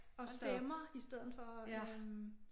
Og stemmer i stedet for øh